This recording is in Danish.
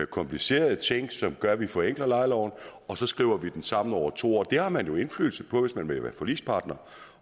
komplicerede ting som gør at vi forenkler lejeloven og så skriver vi den sammen over to år det har man jo indflydelse på hvis man vil være forligspartner